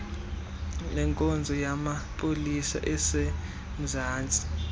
lenkonzo yamapolisa asemzantsi